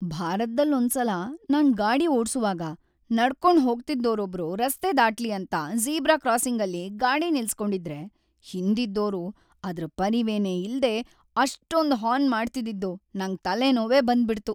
ಭಾರತ್ದಲ್ಲೊಂದ್ಸಲ ನಾನ್ ಗಾಡಿ ಓಡ್ಸುವಾಗ ನಡ್ಕೊಂಡ್‌ ಹೋಗ್ತಿದ್ದೋರೊಬ್ರು ರಸ್ತೆ ದಾಟ್ಲಿ ಅಂತ ಜೀಬ್ರಾ ಕ್ರಾಸಿಂಗಲ್ಲಿ ಗಾಡಿ ನಿಲ್ಸ್‌ಕೊಂಡಿದ್ರೆ ಹಿಂದಿದ್ದೋರು ಅದ್ರ್‌ ಪರಿವೆನೇ ಇಲ್ದೇ ಅಷ್ಟೊಂದ್‌ ಹಾರ್ನ್‌ ಮಾಡ್ತಿದ್ದಿದ್ದು ನಂಗ್ ತಲೆನೋವೇ ಬಂದ್ಬಿಡ್ತು.